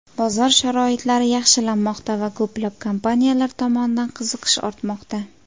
Bozor sharoitlari yaxshilanmoqda, va ko‘plab kompaniyalar tomonidan qiziqish ortmoqda.